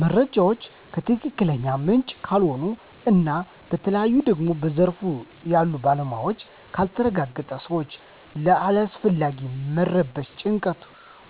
መረጃው ከትክክለኛ ምንጭ ካልሆነ እና በተለይ ደግሞ በዘርፉ ያሉ ባለሞያዎች ካልተረጋገጠ ሰወች ለአላስፈላጊ መረበሽ፣ ጭንቀት፣